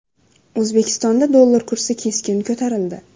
O‘zbekistonda dollar kursi keskin ko‘tarildi .